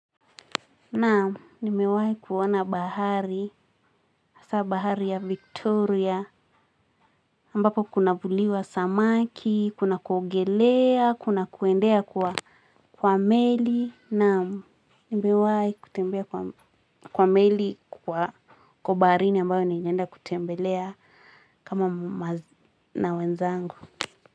Na, nimewahi kuona bahari, asaa bahari ya Victoria, ambapo kunavuliwa samaki, kuna kuogelea, kuna kuendea kwa meli. Naam nimewai kutembea kwa meli kwa baharini ambayo nilienda kutembelea kama na wenzangu.